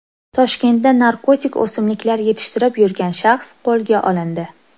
Toshkentda narkotik o‘simliklar yetishtirib yurgan shaxs qo‘lga olindi.